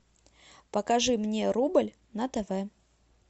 покажи мне рубль на тв